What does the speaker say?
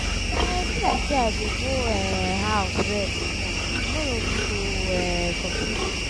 um e be like say i go go um house rest small tomorrow we go um continue.